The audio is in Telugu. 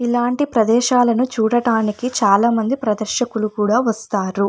ఇలాంటి ప్రదేశాలను చూడడానికి చాలామంది ప్రదర్శకులు కూడా వస్తారు.